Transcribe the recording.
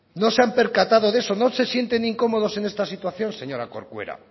no se han percatado de eso no se sienten incómodos en esta situación señora corcuera